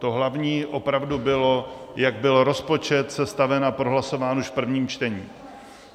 To hlavní opravdu bylo, jak byl rozpočet sestaven a prohlasován už v prvním čtení.